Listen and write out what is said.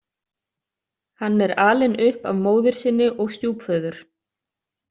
Hann er alinn upp af móðir sinni og stjúpföður.